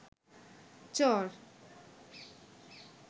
চর